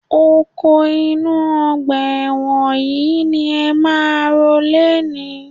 Oko inú ọgbà ẹ̀wọ̀n yìí ni ẹ máa ro lénìí